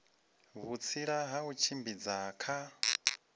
vhutsila ha u tshimbidza kha